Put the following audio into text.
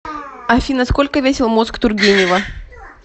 афина сколько весил мозг тургенева